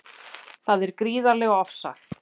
Það er gríðarlega ofsagt